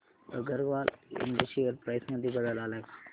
अगरवाल इंड share price मध्ये बदल आलाय का